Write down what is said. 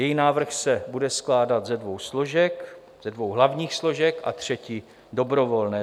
Její návrh se bude skládat ze dvou hlavních složek a třetí dobrovolné.